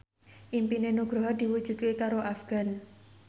impine Nugroho diwujudke karo Afgan